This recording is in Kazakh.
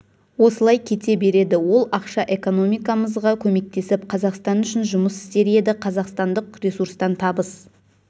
осылай кете береді ол ақша экономикамызға көмектесіп қазақстан үшін жұмыс істер еді қазақстандық ресурстан табыс